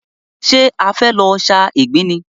Ṣé e fẹ́ lọ sa ìgbín ni?